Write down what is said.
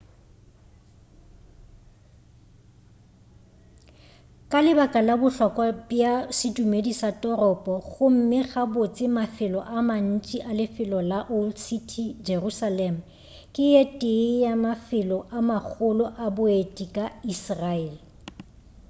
ka lebaka la bohlokwa bja sedumedi sa toropo gomme gabotse mafelo a mantši a lefelo la old city jerusalem ke ye tee ya mafelo a magolo a boeti ka israel